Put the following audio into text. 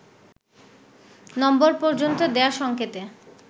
নম্বর পর্যন্ত দেয়া সঙ্কেতে